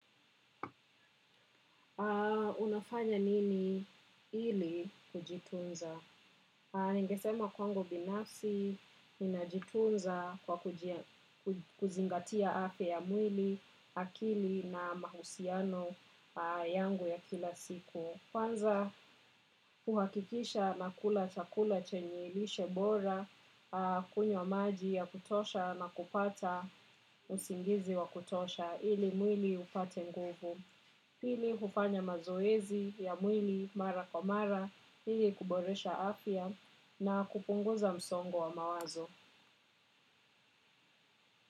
Unafanya nini ili kujitunza? Ningesema kwangu binafsi, ninajitunza kwa kuzingatia afya ya mwili, akili na mahusiano yangu ya kila siku. Kwanza, huhakikisha nakula chakula chenye lishe bora, kunywa maji ya kutosha na kupata usingizi wa kutosha ili mwili upate nguvu. Pili hufanya mazoezi ya mwili mara kwa mara ili kuboresha afya na kupunguza msongo wa mawazo.